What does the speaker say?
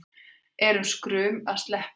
Er skrum að sleppa því